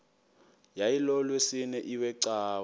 yayilolwesine iwe cawa